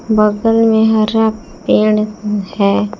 बगल में हरा पेड़ है।